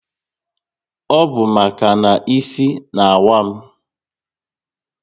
Ọ bụ maka na isi n'awa m